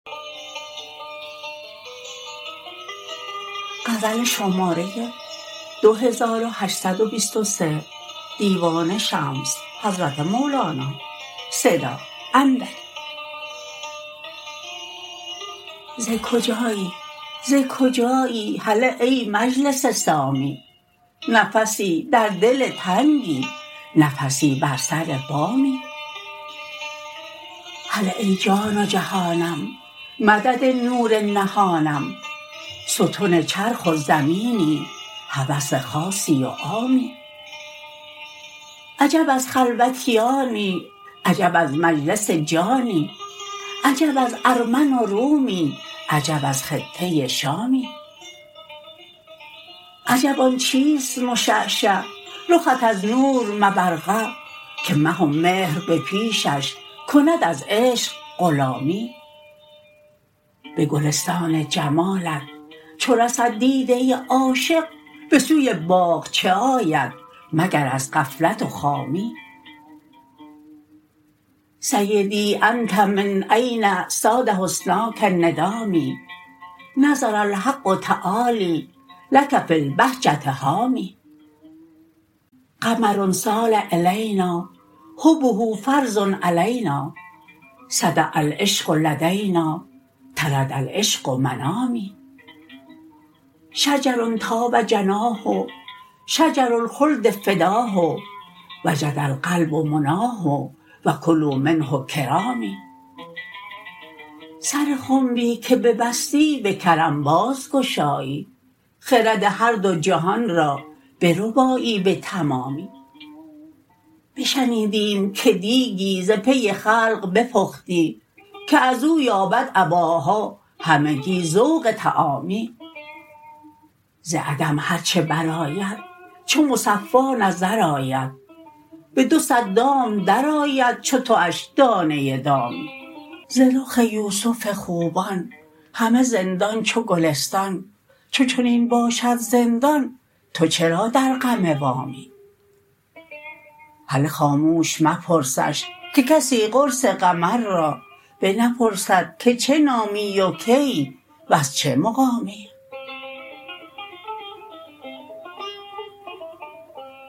ز کجایی ز کجایی هله ای مجلس سامی نفسی در دل تنگی نفسی بر سر بامی هله ای جان و جهانم مدد نور نهانم ستن چرخ و زمینی هوس خاصی و عامی عجب از خلوتیانی عجب از مجلس جانی عجب از ارمن و رومی عجب از خطه شامی عجب آن چیست مشعشع رخت از نور مبرقع که مه و مهر به پیشش کند از عشق غلامی به گلستان جمالت چو رسد دیده عاشق به سوی باغ چه آید مگر از غفلت و خامی سیدی انت من این صاد حسناک ندامی نظر الحق تعالی لک فی البهجه حامی قمر سار الینا حبه فرض علینا سطع العشق لدینا طرد العشق منامی شجر طاب جناه شجر الخلد فداه وجد القلب مناه و کلوا منه کرامی سر خنبی که ببستی به کرم بازگشایی خرد هر دو جهان را بربایی به تمامی بشنیدیم که دیکی ز پی خلق بپختی که از او یابد اباها همگی ذوق طعامی ز عدم هر چه برآید چو مصفا نظر آید به دو صد دام درآید چو تواش دانه دامی ز رخ یوسف خوبان همه زندان چو گلستان چو چنین باشد زندان تو چرا در غم وامی هله خاموش مپرسش که کسی قرص قمر را بنپرسد که چه نامی و کیی وز چه مقامی